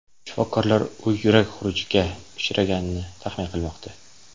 Shifokorlar u yurak xurujiga uchraganini taxmin qilmoqda.